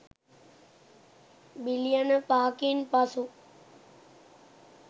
බිලියන පහකින් පසු